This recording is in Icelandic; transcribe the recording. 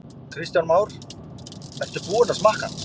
Kristján Már: Ertu búinn að smakka hann?